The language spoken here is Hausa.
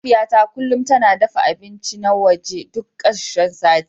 Mahaifiyata kullum tana dafa abinci na waje duk karshen sati.